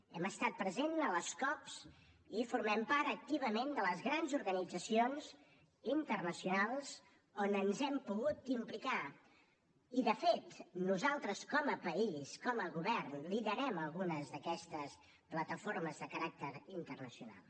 hem estat presents a les cop i formen part activament de les grans organitzacions internacionals on ens hem pogut implicar i de fet nosaltres com a país com a govern liderem algunes d’aquestes plataformes de caràcter internacional